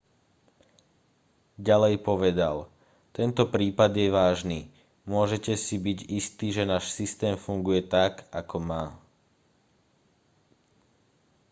ďalej povedal tento prípad je vážny môžete si byť istí že náš systém funguje tak ako má